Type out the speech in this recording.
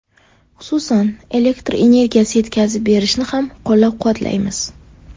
Xususan, elektr energiyasi yetkazib berishni ham ko‘llab-quvvatlaymiz.